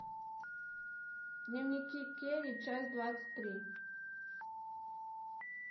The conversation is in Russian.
дневники кэрри часть двадцать три